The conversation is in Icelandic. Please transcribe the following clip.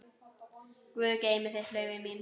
Guð geymi þig, Laufey mín.